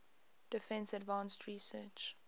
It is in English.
defense advanced research